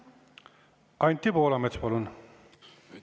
Anti Poolamets, palun!